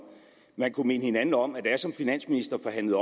man kunne minde hinanden om at da jeg som finansminister forhandlede